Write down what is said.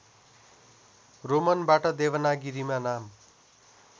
रोमनबाट देवनागरीमा नाम